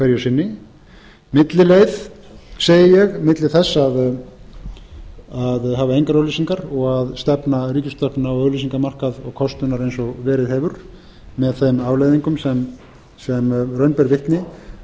hverju sinni millileið segi ég milli þess að hafa engar auglýsingar og að stefna ríkisútvarpinu á auglýsingamarkað og kostunar eins og verið hefur með þeim afleiðingum sem raun ber